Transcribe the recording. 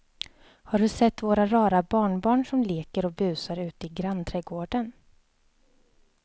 Har du sett våra rara barnbarn som leker och busar ute i grannträdgården!